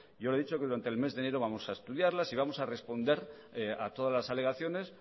yo le he dicho que durante el mes de enero vamos a estudiarlas y vamos a responder a todas las alegaciones